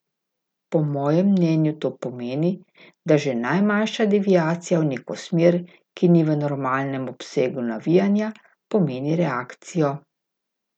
Po mojem mnenju to pomeni, da že najmanjša deviacija v neko smer, ki ni v normalnem obsegu navijanja, pomeni reakcijo.